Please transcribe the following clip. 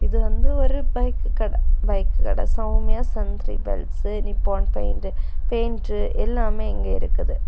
இது வந்து ஒரு பைக்கு கட பைக் கட சௌமியா நிப்பான் பெயிண்டு பெயிண்ட்டு எல்லாமே இங்க இருக்குது.